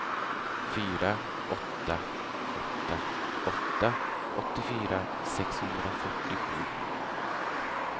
fyra åtta åtta åtta åttiofyra sexhundrafyrtiosju